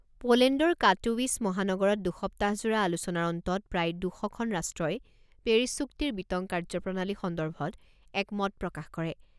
পোলেণ্ডৰ কাটোৱিছ মহানগৰত দুসপ্তাহজোৰা আলোচনাৰ অন্তত প্ৰায় দুশখন ৰাষ্ট্ৰই পেৰিছ চুক্তিৰ বিতং কাৰ্যপ্ৰণালী সন্দৰ্ভত এক মত প্ৰকাশ কৰে।